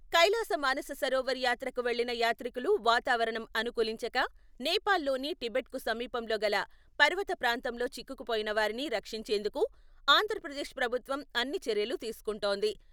కైలాస మానససరోవర్ యాత్రకు వెళ్లిన యాత్రికులు వాతావరణం అనుకూలించక, నేపాల్ లోని టిబెట్ కు సమీపంలోగల పర్వత ప్రాంతంలో చిక్కుకుపోయినవారిని రక్షించేందుకు ఆంధ్రప్రదేశ్ ప్రభుత్వం అన్ని చర్యలు తీసుకుంటోంది.